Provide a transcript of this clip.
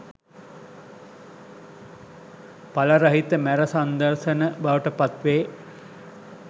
එල රහිත මැර සංදර්ශන බවට පත් වේ